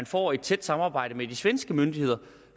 får et tæt samarbejde med de svenske myndigheder